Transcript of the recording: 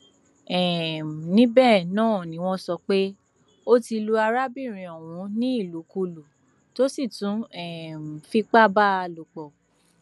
um níbẹ náà ni wọn sọ pé ó ti lu arábìnrin ọhún ní ìlùkulù tó sì tún um fipá bá a a lòpọ